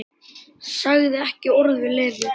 Sagði ekki orð við Lenu.